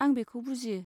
आं बेखौ बुजियो।